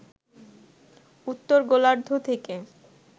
উত্তর গোলার্ধ থেকে